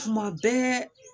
Kuma bɛɛ